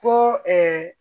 Ko